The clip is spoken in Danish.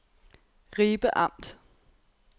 Ribe Amt